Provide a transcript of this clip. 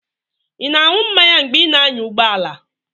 Ị na-aṅụ mmanya mgbe ị na-anya ụgbọ ala?